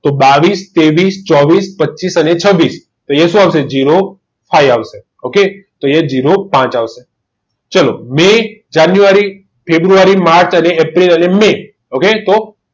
તો બાવીસ તેવીસ ચોવીસ પચીસ અને છવીસ અહીંયા શું આવશે zero five ok તો અહીંયા ઝીરો ઝીરો પાંચ આવશે ચાલો મેં જાન્યુઆરી ફેબ્રુઆરી માર્ચ એપ્રિલ અને મે ok તો